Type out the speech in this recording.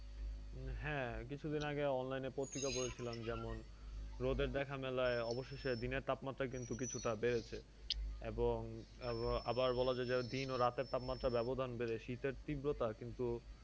হ্যাঁ কিছুদিন আগে online এ পত্রিকা পড়েছিলাম যেমন, রোদের দেখা মেলায় অবশেষে দিনের তাপমাত্রা অবশেষে কিছুটা বেড়েছে এবং আবার বলা যায়যে দিন ও রাতের তাপমাত্রার ব্যাবধান বেড়ে শীতের তীব্রতা কিন্তু,